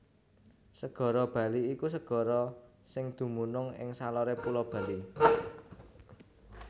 Segara Bali iku segara sing dumunung ing saloré Pulo Bali